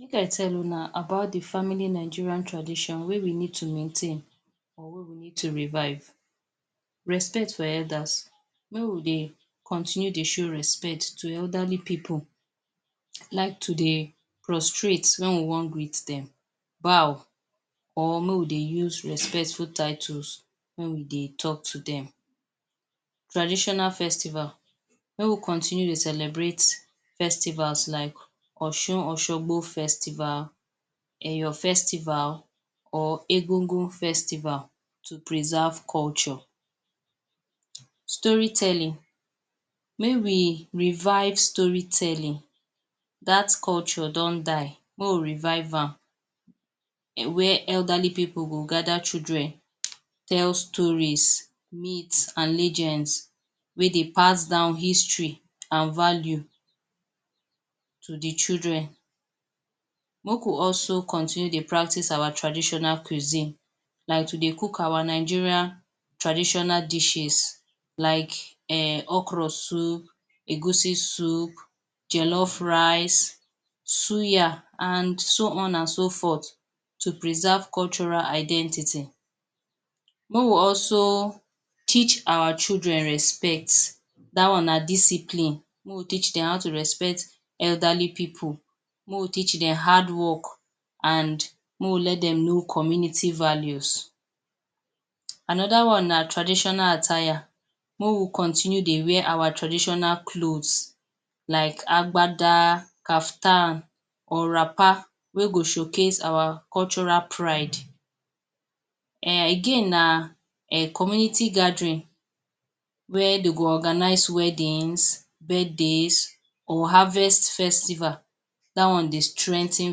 Make i tell una about dey family Nigerian tradition wey we need to maintain or wey we need to revive. Respect for elders- make we dey continue dey show respect to elderly people like to dey prostrate when we wan greet dem, bow or make we dey use respectful titles when we dey talk to dem. Traditional festival- make we continue dey celebrate festivals like Osun-oshogbo festival, Eyo festival or Egungun festival to preserve culture. Story telling- may we revive story telling dat culture don die may we revive am where elderly people go gather children tell stories myth and lengends wey dey pass don history and value to dey children. Make we also continue dey practice our traditional cuisine like to dey cook our Nigerian traditional dishes like[um] okro soup, egusi soup, jellof rice, suya and so on and so forth. To preserve cultural identity- may we also teach our children respect dat one na discipline may we teach dem how to respect elderly people, may we teach dem hardwork and may we let dem know community values. Another one na traditional attire- may we continue dey wear our traditional clothes like agbada, caftan or wrapper wey go showcase our cultural pride. Again na community gathering where dey go organize wedddings, birthdays or harvest festival dat one dey strengthen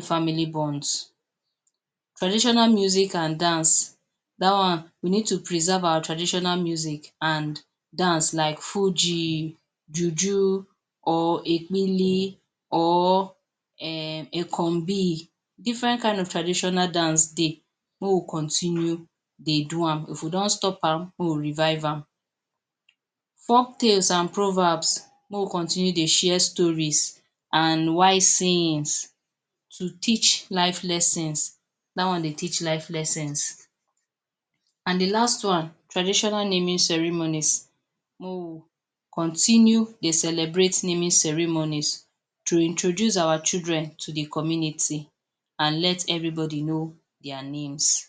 family bonds. Traditional music and dance- dat one we need to preserve our traditional music and dance like fuji, juju or ekpili or[um] ekonbi. Different kind of traditional dance dey may we continue dey do am, if we don stop am may we revive am. Folktales and proverbs- may we continue dey share stories and wise sayings to teach life lessons dat one dey teach life lessons and dey last one traditional naming ceremonies may we continue dey celebrate naming ceremonies to introduce our children to dey community and let everybody know dia names.